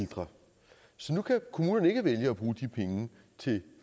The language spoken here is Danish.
ældre så nu kan kommunerne ikke vælge at bruge de penge til